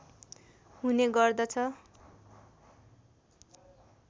हुने गर्दछ